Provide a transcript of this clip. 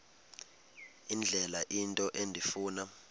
indlela into endifuna